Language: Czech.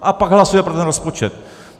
A pak hlasuje pro ten rozpočet.